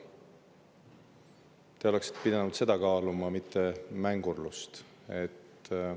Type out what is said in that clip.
Te oleksite pidanud kaaluma seda, mitte mängurlusega.